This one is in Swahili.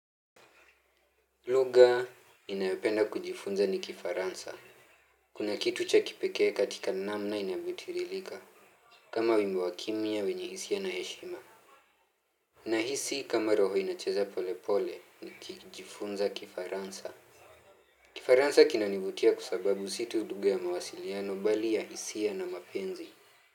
Lugha ninayopenda kujifunza ni Kifaransa. Kuna kitu cha kipekee katika namna inavyotirilika, kama wimbo wakimya wenye hisia na heshima. Nahisi kama roho inacheza pole pole, nikijifunza Kifaransa. Kifaransa kinanivutia kwa sababu si tu lugha ya mawasiliano bali ya hisia na mapenzi.